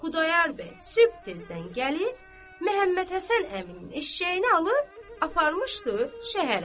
Xudayar bəy sübh tezdən gəlib Məmmədhəsən əminin eşşəyini alıb, aparmışdı şəhərə.